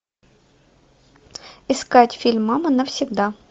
искать фильм мама навсегда